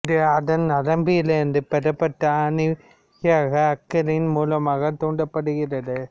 இது அதன் நரம்புலிருந்து பெறப்பட்ட அணைவியாகிய அக்ரின் மூலமாக தூண்டப்படுகிறது